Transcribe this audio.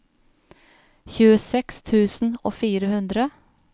tjueseks tusen og fire hundre